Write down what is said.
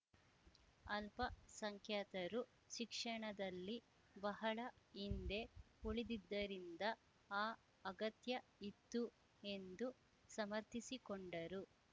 ಅಲ್ಪಸಂಖ್ಯಾತರು ಶಿಕ್ಷಣದಲ್ಲಿ ಬಹಳ ಹಿಂದೆ ಉಳಿದಿದ್ದರಿಂದ ಆ ಅಗತ್ಯ ಇತ್ತು ಎಂದು ಸಮರ್ಥಿಸಿಕೊಂಡರು